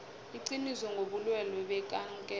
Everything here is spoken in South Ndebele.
iqiniso ngobulwelwe bekankere